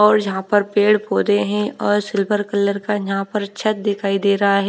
और यहां पर पेड़ पौधे हैं और सिल्वर कलर का यहां पर छत दिखाई दे रहा है।